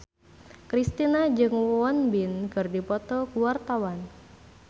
Kristina jeung Won Bin keur dipoto ku wartawan